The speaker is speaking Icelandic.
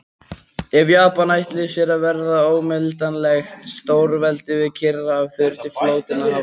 Ef Japanar ætluðu sér að verða óumdeilanlegt stórveldi við Kyrrahaf, þurfti flotinn að hafa olíu.